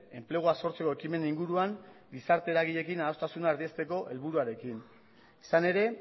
enplegua sortzeko ekimenen inguruan gizarte eragileekin adostasunak erdiesteko helburuarekin izan ere